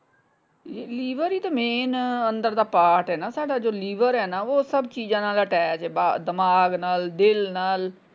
ਇਹ ਲੀਵਰ ਈ ਤੇ ਮੇਨ ਅੰਦਰਲਾ ਪਾਰਟ ਏ ਨਾ ਤੁਹਾਡਾ ਜੋ ਲੀਵਰ ਹੈ ਉਹ ਸਬ ਚੀਜਾਂ ਨਾਲ ਅਟੈਚ ਹੈ ਬ ਦਿਮਾਗ ਨਾਲ ਦਿਲ ਨਾਲ।